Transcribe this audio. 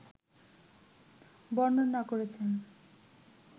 বর্ণনা করেছেন